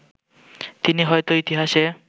তিনি হয়তো ইতিহাসে